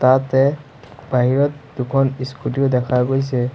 ইয়াতে বাহিৰত দুখন ইস্কুটী ও দেখা গৈছে।